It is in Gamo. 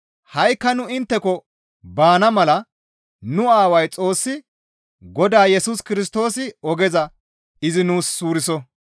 Ha7ikka nu intteko baana mala nu Aaway Xoossi Godaa Yesus Kirstoosi ogeza izi nuus suuriso.